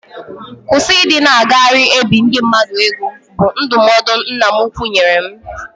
Kwụsị ịdị na-agagharị e biri ndị mmadụ ego, bụ ndụmọdụ nna m ukwu nyere m